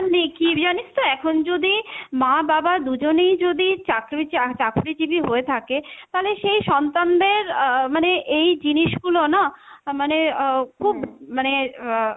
নেই, কী জানিস তো এখন যদি মা বাবা দুজনেই যদি চাকরি চা~ চাকরিজীবী হয়ে থাকে, তালে সেই সন্তানদের আহ মানে এই জিনিসগুলো না মানে আহ খুব মানে আহ